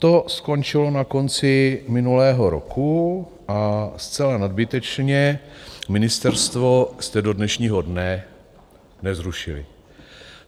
To skončilo na konci minulého roku a zcela nadbytečně ministerstvo jste do dnešního dne nezrušili.